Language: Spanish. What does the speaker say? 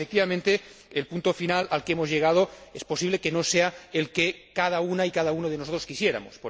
El punto final al que hemos llegado es posible que no sea el que cada una y cada uno de nosotros quisiéramos.